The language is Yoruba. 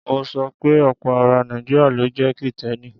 Mo sọ pe ọ̀pọ̀ ara Nàìjíríà ló jẹ́ Kìtẹ́ẹ́nì.